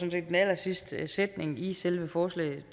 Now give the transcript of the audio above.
i den allersidste sætning i selve forslaget